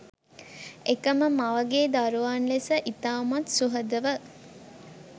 එකම මවගේ දරුවන් ලෙස ඉතාමත් සුහදව